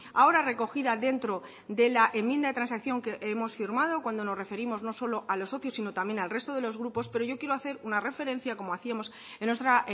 ahora recogida dentro de la enmienda de transacción que hemos firmado cuando nos referimos no solo a los socios sino también al resto de los grupos pero yo quiero hacer una referencia como hacíamos en nuestra